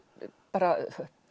bara